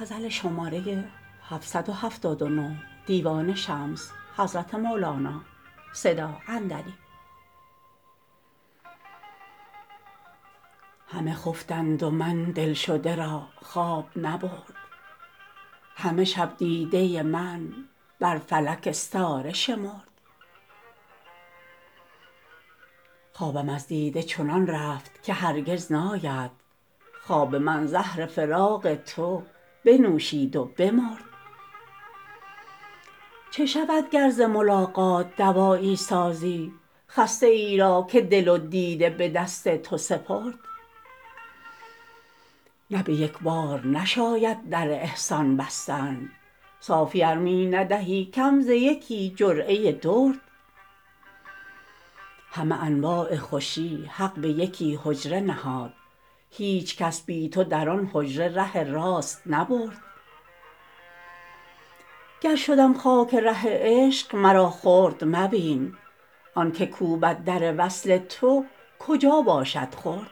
همه خفتند و من دلشده را خواب نبرد همه شب دیده من بر فلک استاره شمرد خوابم از دیده چنان رفت که هرگز ناید خواب من زهر فراق تو بنوشید و بمرد چه شود گر ز ملاقات دوایی سازی خسته ای را که دل و دیده به دست تو سپرد نه به یک بار نشاید در احسان بستن صافی ار می ندهی کم ز یکی جرعه درد همه انواع خوشی حق به یکی حجره نهاد هیچ کس بی تو در آن حجره ره راست نبرد گر شدم خاک ره عشق مرا خرد مبین آنک کوبد در وصل تو کجا باشد خرد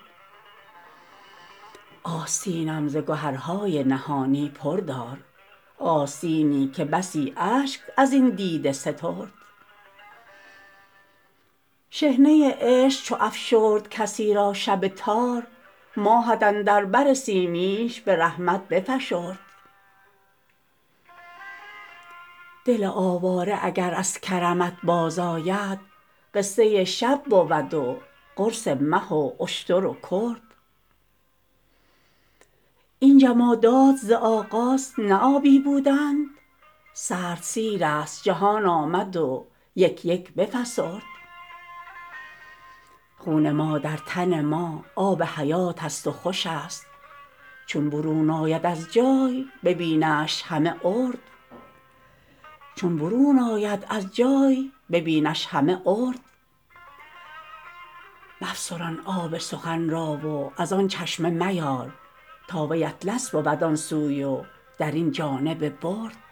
آستینم ز گهرهای نهانی پر دار آستینی که بسی اشک از این دیده سترد شحنه عشق چو افشرد کسی را شب تار ماهت اندر بر سیمینش به رحمت بفشرد دل آواره اگر از کرمت بازآید قصه شب بود و قرص مه و اشتر و کرد این جمادات ز آغاز نه آبی بودند سرد سیرست جهان آمد و یک یک بفسرد خون ما در تن ما آب حیاتست و خوش است چون برون آید از جای ببینش همه ارد مفسران آب سخن را و از آن چشمه میار تا وی اطلس بود آن سوی و در این جانب برد